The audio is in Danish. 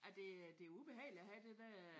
Ja det det er ubehageligt at have det der